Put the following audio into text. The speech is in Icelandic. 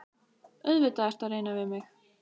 Auðvitað ertu að reyna við mig!